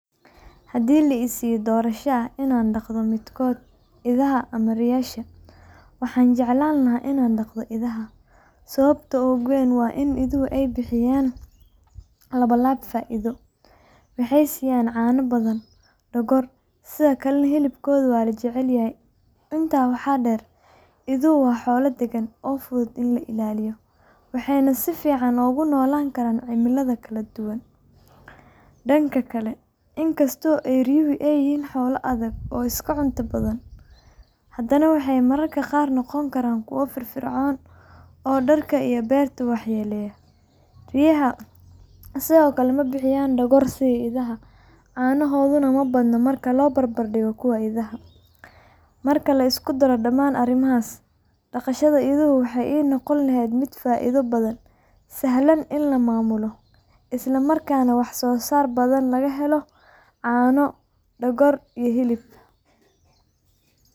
Haddii la i siiyo doorasho ah inaan dhaqdo midkood – idaha ama riyaasha – waxaan jeclaan lahaa inaan dhaqdo idaha. Sababta ugu weyn waa in iduhu ay bixiyaan labanlaab faa’iido: waxay siiyaan caano badan iyo dhogor, sidoo kalena hilibkoodu waa la jecel yahay. Intaa waxaa dheer, iduhu waa xoolo daggan oo fudud in la ilaaliyo, waxayna si fiican ugu noolaan karaan cimilada kala duwan. Dhanka kale, in kasta oo riyaha ay yihiin xoolo adag oo iska cunto badan, haddana waxay mararka qaar noqon karaan kuwo firfircoon oo dharka iyo beerta waxyeeleeya. Riyaha sidoo kale ma bixin dhogor sida idaha, caanahooduna ma badna marka la barbar dhigo kuwa idaha. Marka la isku daro dhammaan arrimahaas, dhaqashada iduhu waxay ii noqon lahayd mid faa’iido badan, sahlan in la maamulo, isla markaana wax soo saar badan laga helo caano, dhogor, iyo hilibba.